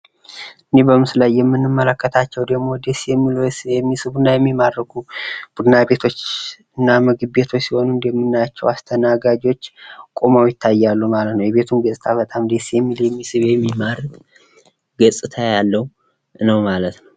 እነዚህ በምስሉ ላይ የምንመለከታቸው ደሞ ደስ የሚሉ የሚስቡና የሚማርኩ ቡና ቤቶችና ምግብ ቤቶች ሲሆኑ እንደምናያቸው አስተናጋጆች ቁመው ይታያሉ ማለት ነው። የቤቱም ገፅታ በጣም ደስ የሚል የሚስብ የሚማርክ ገፅታ ያለው ነው ማለት ነው።